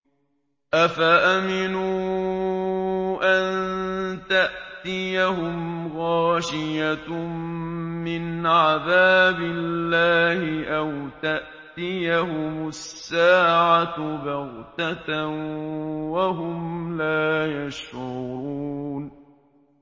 أَفَأَمِنُوا أَن تَأْتِيَهُمْ غَاشِيَةٌ مِّنْ عَذَابِ اللَّهِ أَوْ تَأْتِيَهُمُ السَّاعَةُ بَغْتَةً وَهُمْ لَا يَشْعُرُونَ